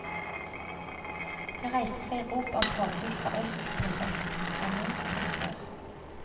Det reiste seg rop om forbud fra øst til vest, fra nord til sør.